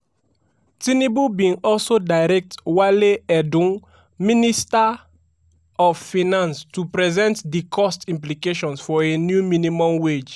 tinubu bin also direct wale edun minister of finance to present di cost implications for a new minimum wage.